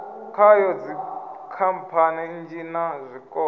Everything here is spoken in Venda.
khayo dzikhamphani nnzhi na zwikolo